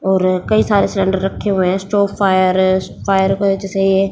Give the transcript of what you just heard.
और कई सारे सिलेंडर रखे हुए हैं स्टोव फायर है फायर के वजह से ये--